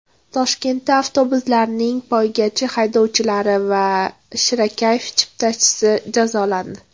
Toshkentda avtobuslarning poygachi haydovchilari va shirakayf chiptachisi jazolandi.